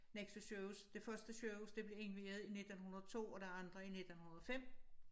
Nexø sygehus det første sygehus det blev indviet i 1902 og det andet i 1905